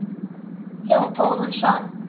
Ég á góðan son.